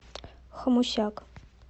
хомусяк